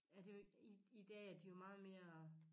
Ja det jo ikke i i dag er de jo meget mere